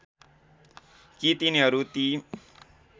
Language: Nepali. कि तिनीहरू ती